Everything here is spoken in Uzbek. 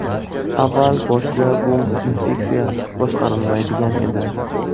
Avval boshida bu infeksiya boshqarilmaydigan edi.